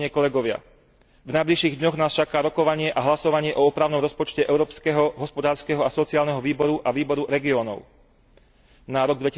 V najbližších dňoch nás čaká rokovanie a hlasovanie o opravnom rozpočte Európskeho hospodárskeho a sociálneho výboru a Výboru regiónov na rok